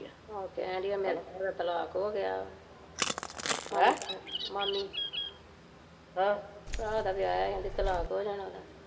ਆਹੋ ਕਹਿਣ ਡਾਇਆ ਏ ਵੀ ਦਾ ਤਲਾਕ ਹੋਗਿਆ ਵਾ ਮਾਮੀ ਹਮ ਭਰਾ ਦਾ ਵਿਆਹਿਆ ਕਹਿੰਦੀ ਤਲਾਕ ਹੋ ਜਾਣਾ ਉਹਦਾ